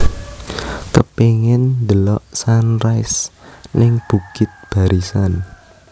Kepingin ndelok sunrise ning Bukit Barisan